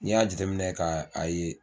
N'i y'a jate minɛ ka a ye